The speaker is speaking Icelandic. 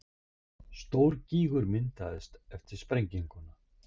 Stór gígur myndaðist eftir sprengjuna